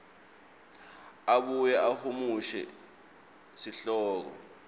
abuye ahumushe sihloko